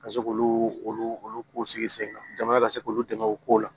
Ka se k'olu olu olu k'u sigi sen kan jamana ka se k'olu dɛmɛ o kow la